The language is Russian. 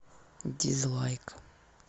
дизлайк